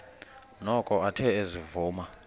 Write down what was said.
noko athe ezivuma